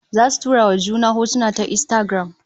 Zasu tura wa juna hotuna ta Instagram